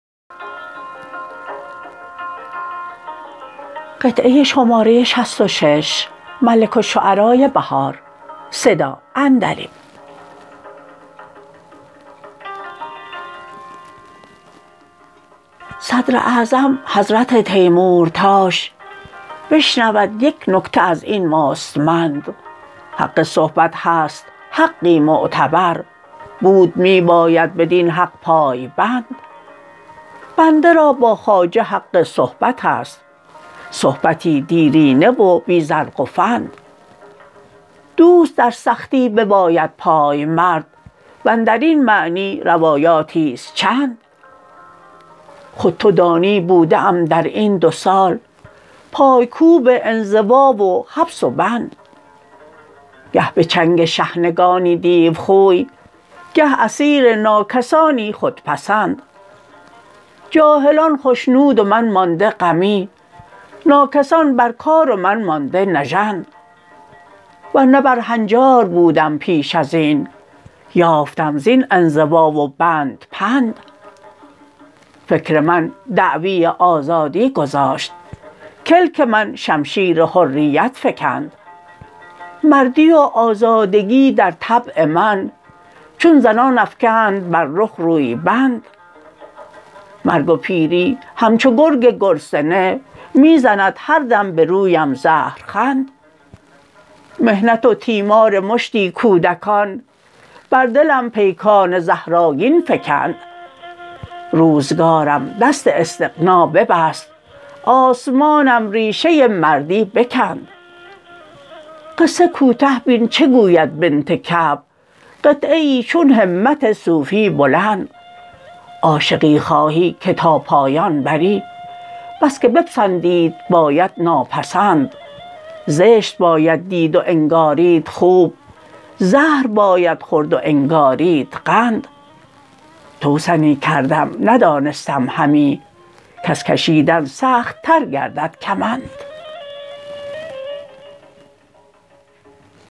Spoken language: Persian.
صدر اعظم حضرت تیمورتاش بشنود یک نکته از این مستمند حق صحبت هست حقی معتبر بود می باید بدین حق پای بند بنده را با خواجه حق صحبت است صحبتی دیرینه و بی زرق و فند دوست در سختی بباید پایمرد واندر این معنی روایاتی است چند خود تو دانی بوده ام در این دو سال پایکوب انزوا و حبس و بند گه به چنگ شحنگانی دیوخوی گه اسیر ناکسانی خودپسند جاهلان خشنود و من مانده غمی ناکسان بر کار و من مانده نژند ورنه بر هنجار بودم پیش از این یافتم زین انزوا و بند پند فکر من دعوی آزادی گذاشت کلک من شمشیر حریت فکند مردی و آزادگی در طبع من چون زنان افکند بر رخ روی بند مرگ و پیری همچو گرگ گرسنه می زند هر دم به رویم زهرخند محنت و تیمار مشتی کودکان بر دلم پیکان زهرآگین فکند روزگارم دست استغنا ببست آسمانم ریشه مردی بکند قصه کوته بین چه گوید بنت کعب قطعه ای چون همت صوفی بلند عاشقی خواهی که تا پایان بری بس که بپسندید باید ناپسند زشت باید دید و انگارید خوب زهر باید خورد و انگارید قند توسنی کردم ندانستم همی کز کشیدن سخت تر گردد کمند